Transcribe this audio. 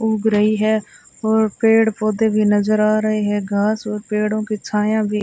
उग रही है और पेड़ पौधे भी नजर आ रहे हैं घास और पेड़ों की छाया भी--